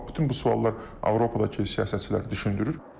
Bax bütün bu suallar Avropadakı siyasətçiləri düşündürür.